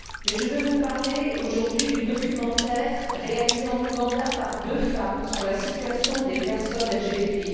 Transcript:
Je voudrais vous parler, aujourd'hui, du documentaire réalisé en Ouganda par deux femmes sur la situation des personnes LGBT.